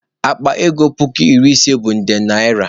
Akpa ego puku iri ise bụ nde naịra.